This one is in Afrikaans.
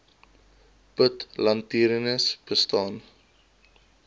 put latrines bestaan